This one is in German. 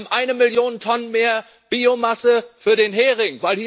Wir haben eine Million Tonnen mehr Biomasse für den Hering.